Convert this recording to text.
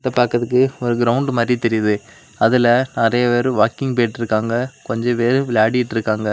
இத பாக்குறதுக்கு ஒரு கிரவுண்ட் மாதிரி தெரியுது அதுல நிறைய பேர் வாக்கிங் போயிட்டு இருக்காங்க கொஞ்ச பேர் விளையாடிட்டு இருக்காங்க.